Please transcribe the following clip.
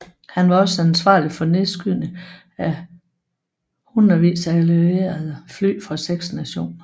Han var også ansvarlig for nedskydning af hindredvis af allierede fly fra seks nationer